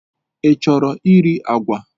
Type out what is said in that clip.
Ị chọrọ iri agwa?